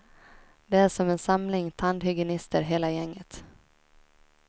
De är som en samling tandhygienister hela gänget.